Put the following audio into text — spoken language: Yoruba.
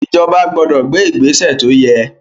Ìjọba gbọdọ̀ gbé ìgbésè tó yẹ.